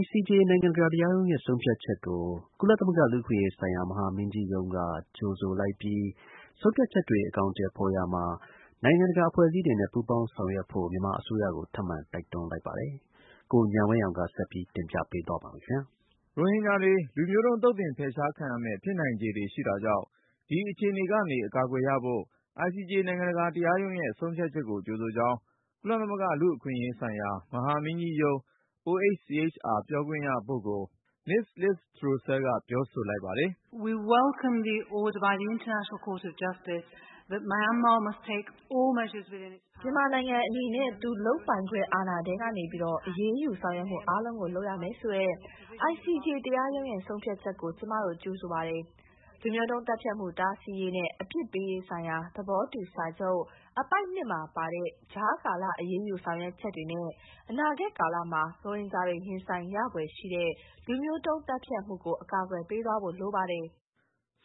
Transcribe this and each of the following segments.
ICJ နိုင်ငံတကာ တရားရုံးရဲ့ဆုံးဖြတ်ချက်ကို ကုလသမဂ္ဂ လူ့အခွင့်ရေးဆိုင်ရာ မဟာမင်းကြီးရုံးက ကြိုဆိုလိုက်ပြီး ဆုံးဖြတ်ချက်တွေ အကောင်အထည်ဖေါ်ရာမှာ နိုင်ငံတကာ အဖွဲ့အစည်းတွေနဲ့ ပူးပေါင်းဆောင်ရွက်ဖို့ မြန်မာအစိုးရကို ထပ်မံတိုက်တွန်း လိုက်ပါတယ်။ ကိုဉာဏ်ဝင်းအောင်က ဆက်ပြီးတင်ပြမှာပါ။ ရိုဟင်ဂျာတွေ လူမျိုးတုံး သုတ်သင်ဖယ်ရှား ခံရမယ့် ဖြစ်နိုင်ခြေတွေရှိတာကြောင့် ဒီအခြေအနေကနေ အကာအကွယ်ရဖို့ ICJ နိုင်ငံတကာ တရားရုံးရဲ့ဆုံးဖြတ်ချက်ကို ကြိုဆိုကြောင်း ကုလသမဂ္ဂ လူ့အခွင့်ရေးဆိုင်ရာ မဟာမင်းကြီးရုံး OHCHR ပြောခွင့်ရပုဂ္ဂိုလ် မစ္စ် Liz Throssell က ပြောဆိုလိုက်ပါတယ်။ “မြန်မာနိုင်ငံအနေနဲ့ သူ့လုပ်ပိုင်ခွင့် အာဏာထဲကနေ အရေးယူ ဆောင်ရွက်မှုအားလုံးကို လုပ်ရမယ်ဆိုတဲ့ ICJ တရားရုံးရဲ့ ဆုံးဖြတ်ချက်ကို ကျမတို့ ကြိုဆိုပါတယ်။ လူမျိုးတုံးသတ်ဖြတ်မှု တားဆီးရေးနဲ့ အပြစ်ပေးရေးဆိုင်ရာ သဘောတူစာချုပ် အပိုဒ် ၂ မှာပါတဲ့ ကြားကာလ အရေးယူ ဆောင်ရွက်ချက်တွေနဲ့ အနာဂတ်ကာလမှာ ရိုဟင်ဂျာတွေ ရင်ဆိုင်ရဖွယ်ရှိတဲ့ လူမျိုးတုံးသတ်ဖြတ်မှုကို အကာအကွယ်ပေးသွားဖို့ လိုပါတယ်။”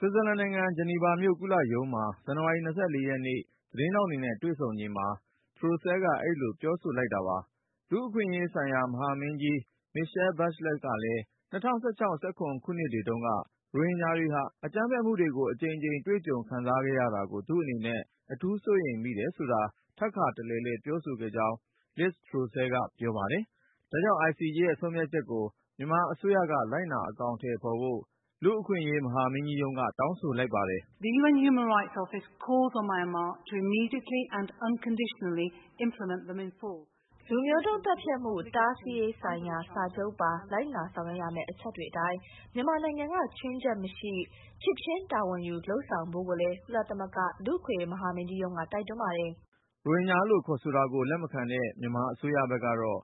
ICJ က ချမှတ်လိုက်တဲ့ ကြားဖြတ် အရေးပေါ်စီမံချက်တွေကို ဖတ်ရှုနိုင်ပါတယ်။ ဆွစ်ဇာလန်နိုင်ငံ ဂျနီဗာမြို့ ကုလရုံးမှာ ဇန်နဝါရီ ၂၄ ရက်နေ့ သတင်းထောက်တွေနဲ့ တွေ့ဆုံချိန် Liz Throssell က အဲဒီလို ပြောဆိုလိုက် တာပါ။ လူ့အခွင့်အရေးဆိုင်ရာ မဟာမင်းကြီး Michelle Bachelet ကလည်း ၂၀၁၆ -၂၀၁၇ ခုနှစ်တွေတုန်းက ရိုဟင်ဂျာတွေဟာ အကြမ်းဖက် မှုတွေကို အကြိမ်ကြိမ် တွေကြုံခံစားခဲ့ရတာကို သူ့အနေနဲ့ အထူးစိုးရိမ်မိတယ်ဆိုတာ ထပ်ခါတလဲလဲ ပြောဆိုခဲ့ကြောင်း Liz Throssell က ပြောပါတယ်။ ဒါကြောင့် ICJ ရဲ့ဆုံးဖြတ်ချက်ကို မြန်မာအစိုးရက လိုက်နာ အကောင်အထည် ဖေါ်ဖို့ OHCHR က တောင်းဆိုလိုက်ပါတယ်။ “လူမျိုးတုံးသတ်ဖြတ်မှု တားဆီးရေးဆိုင်ရာ စာချုပ်ပါ လိုက်နာဆောင်ရွက်ရမယ့် အချက်တွေအတိုင်း မြန်မာနိုင်ငံက ချွင်းချက်မရှိ ချက်ချင်း တာဝန်ယူ လုပ်ဆောင်ဖို့ကိုလည်း ကုလသမဂ္ဂ လူ့အခွင့်အရေး မဟာမင်းကြီးရုံးက တိုက်တွန်းပါတယ်။” ရိုဟင်ဂျာလို့ခေါ်ဆိုတာကို လက်မခံတဲ့ မြန်မာအစိုးရဘက်ကတော့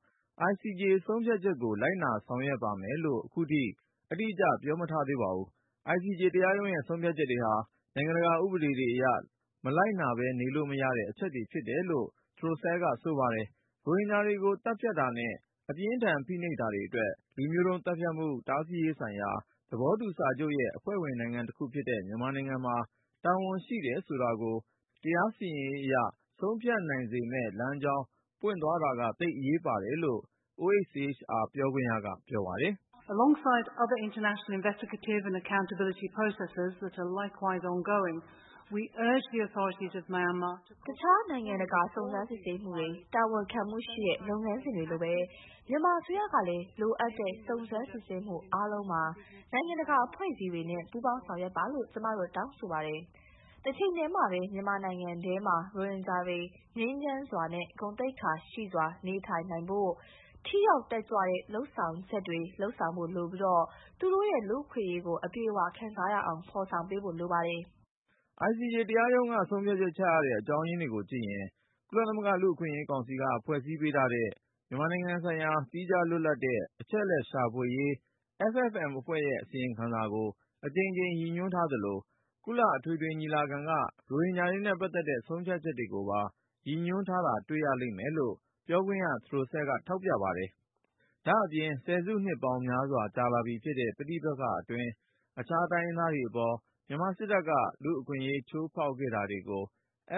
ICJ ဆုံးဖြတ်ချက်ကို လိုက်နာ လုပ်ဆောင်ပါမယ်လို့ ခုထိ အတိအကျ ပြောမထားသေးပါဘူး။ ICJ တရားရုံးရဲ့ဆုံးဖြတ်ချက်တွေဟာ နိုင်ငံတကာဥပဒေတွေအရ မလိုက်နာပဲ နေလို့မရတဲ့ အချက်တွေဖြစ်တယ် လို့လည်း Throssell က ဆိုပါတယ်။ ရိုဟင်ဂျာတွေကို သတ်ဖြတ်တာနဲ့ အပြင်းအထန် ဖိနှိပ်တာတွေအတွက် လူမျိုးတုံးသတ်ဖြတ်မှု တားဆီးရေးဆိုင်ရာ သဘောတူစာချုပ်ရဲ့ အဖွဲ့ဝင်နိုင်ငံတခုဖြစ်တဲ့ မြန်မာနိုင်ငံမှာ တာဝန်ရှိတယ်ဆိုတာကို တရားစီရင်ရေးအရ ဆုံးဖြတ်နိုင်စေမယ့်လမ်းကြောင်း ပွင့်သွားတာက သိပ်အရေးပါတယ်လို့ OHCHR ပြောခွင့်ရက ပြောပါတယ်။ “အခြား နိုင်ငံတကာ စုံစမ်းစစ်ဆေးမှုတွေ၊ တာဝန်ခံမှုရှိတဲ့ လုပ်ငန်းစဉ်တွေလိုပဲ မြန်မာအစိုးရကလည်း လိုအပ်တဲ့ စုံစမ်းစစ်ဆေးမှု အားလုံးမှာ နိုင်ငံတကာ အဖွဲ့အစည်းတွေနဲ့ ပူးပေါင်ဆောင်ရွက်ပါလို့ ကျမတို့ တောင်းဆိုပါတယ်။ တချိန်ထဲမှာပဲ မြန်မာနိုင်ငံထဲမှာ ရိုဟင်ဂျာတွေ ငြိမ်းချမ်း စွာနဲ့ ဂုဏ်သိက္ခာရှိစွာ နေထိုင်နိုင်ဖို့ ထိရောက်တက်ကြွတဲ့ လုပ်ဆောင်ချက်တွေ လုပ်ဆောင်ဖို့လိုပြီး၊ သူတို့ရဲ့ လူ့အခွင့်အရေးကို အပြည့်အဝ ခံစားရအောင် ဖေါ်ဆောင်ပေးဖို့လိုပါတယ်။” ICJ တရားရုံးက ဆုံးဖြတ်ချက်ချရတဲ့ အကြောင်းရင်းတွေကိုကြည့်ရင် ကုလသမဂ္ဂ လူ့အခွင့်အရေးကောင်စီ က ဖွဲ့ပေးထားတဲ့ မြန်မာနိုင်ငံ ဆိုင်ရာ သီးခြားလွတ်လပ်တဲ့ အချက်အလက်ရှာဖွေရေး FFM အဖွဲ့ရဲ့ အစီရင်ခံစာကို အကြိမ်ကြိမ် ရည်ညွှန်းထားသလို၊ ကုလအထွေထွေ ညီလာခံက ရိုဟင်ဂျာတွေနဲ့ ပတ်သက်တဲ့ ဆုံးဖြတ်ချက်တွေကိုပါ ရည်ညွှန်းထားတာ တွေ့ရလိမ့်မယ်လို့ ပြောခွင့်ရ Throssell က ထောက်ပြ ပါတယ်။ ဒါ့အပြင် ဆယ်စုနှစ်ပေါင်းများစွာ ကြာလာပြီဖြစ်တဲ့ ပဋိပက္ခအတွင်း အခြားတိုင်းရင်းသားတွေအပေါ် မြန်မာစစ်တပ်က လူ့အခွင့်အရေးချိုးဖောက် ခဲ့တာတွေကို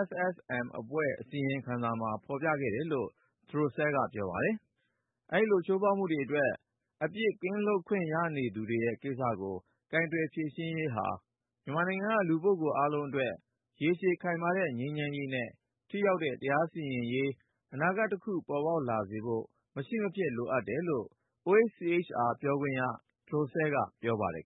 FFM အဖွဲ့အစီရင်ခံစာမှာ ဖေါ်ပြခဲ့တယ်လို့ Throssell ကပြောပါတယ်။ အဲဒီလို ချိုးဖောက်မှုတွေအတွက် အပြစ်ကင်းလွတ်ခွင့် ရနေတဲ့ကိစ္စကို ကိုယ်တွယ်ဖြေရှင်းရေးဟာ မြန်မာနိုင်ငံက လူပုဂ္ဂိုလ်အားလုံးအတွက် ရေရှည်ခိုင်မာတဲ့ ငြိမ်းချမ်းရေးနဲ့ ထိရောက်တဲ့ တရားစီရင်ရေး အနာဂတ်တခု ပေါ်ပေါက်လာစေဖို့ မရှိမဖြစ် လိုအပ်တယ်လို့ Throssell ကပြောပါတယ်